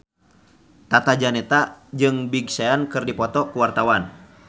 Tata Janeta jeung Big Sean keur dipoto ku wartawan